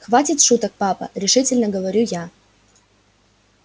хватит шуток папа решительно говорю я